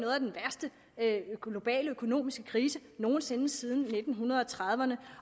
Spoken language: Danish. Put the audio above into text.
af de globale økonomiske kriser nogen sinde siden nitten trediverne